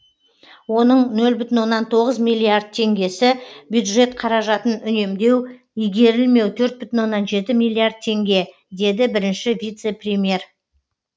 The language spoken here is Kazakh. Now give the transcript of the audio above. оның нөл бүтін оннан тоғыз миллиард теңгесі бюджет қаражатын үнемдеу игерілмеу төрт бүтін оннан жеті миллиард теңге деді бірінші вице премьер